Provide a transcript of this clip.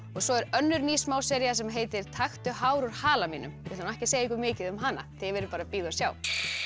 svo er önnur ný smásería sem heitir taktu hár úr hala mínum við ætlum ekki að segja ykkur mikið um hana þið verðið bara að bíða og sjá